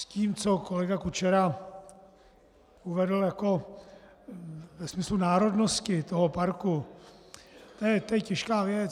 S tím, co kolega Kučera uvedl jako ve smyslu národnosti toho parku - to je těžká věc.